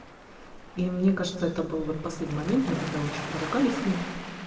и мне кажется это был вот последний момент мы тогда очень поругались с ним